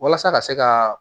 Walasa ka se ka